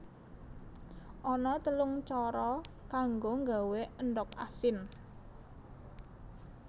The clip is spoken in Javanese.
Ana telung cara kanggo nggawé endhog asin